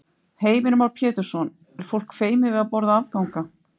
Heimir Már Pétursson: Er fólk feimið við að borða afganga?